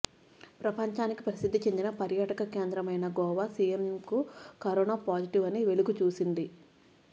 ప్రపంచ ప్రసిద్ది చెందిన పర్యాటక కేంద్రం అయిన గోవా సీఎంకు కరోనా పాజిటివ్ అని వెలుగు చూసింది